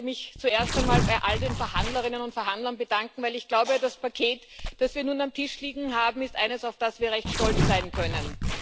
Auch ich möchte mich zuerst einmal bei all den Verhandlerinnen und Verhandlern bedanken, denn ich glaube, das Paket, das wir nun auf dem Tisch liegen haben, ist eines, auf das wir recht stolz sein können.